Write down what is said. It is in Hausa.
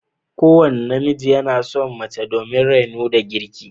Kowane namiji yana son mace domin raino da girki.